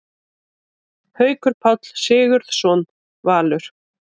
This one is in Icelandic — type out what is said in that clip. Haukur Páll Sigurðsson, Valur